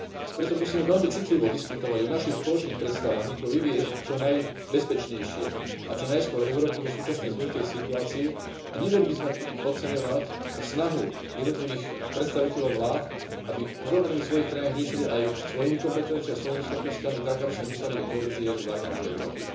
Preto musíme veľmi citlivo diskutovať o našich spoločných predstavách ako vyviesť čo najbezpečnejšie a čo najskôr Európu zo súčasnej zložitej situácie a nemali by sme pri tom podceňovať snahu jednotlivých predstaviteľov vlád, aby problémy svojich krajín riešili aj svojimi kompetenciami a svojimi schopnosťami tak, aby sa nedostali do kolízie so záujmami Európy.